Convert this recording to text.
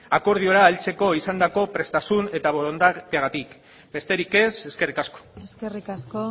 akordiora heltzeko izandako prestasun eta borondateagatik besterik ez eskerrik asko eskerrik asko